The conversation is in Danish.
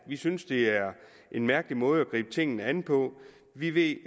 vi synes det er en mærkelig måde at gribe tingene an på vi ved i